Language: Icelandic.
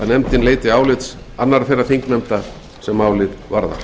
nefndin leiti álits annarra þeirra þingnefnda sem málið varðar